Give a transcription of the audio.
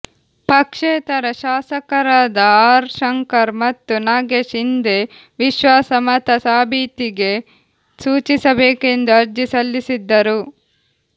ಪಕ್ಷೇತರ ಶಾಸಕರಾದ ಆರ್ ಶಂಕರ್ ಮತ್ತು ನಾಗೇಶ್ ಇಂದೇ ವಿಶ್ವಾಸಮತ ಸಾಬೀತಿಗೆ ಸೂಚಿಸಬೇಕೆಂದು ಅರ್ಜಿ ಸಲ್ಲಿಸಿದ್ದರು